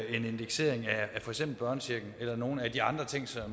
indeksering af for eksempel børnechecken eller for nogle af de andre ting som